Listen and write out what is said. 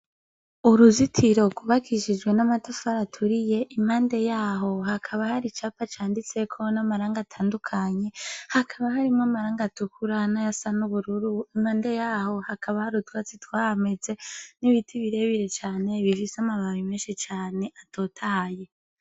Uruzitiro kubakishijwe n'amatufari aturiye impande yaho hakaba hari icapa canditseko n'amaranga atandukanye hakaba harimwo amaranga atukura na ya sa n'ubururu impande yaho hakaba harutwatsi twameze n'ibiti birebire cane bivise amababe menshi cane atotaye.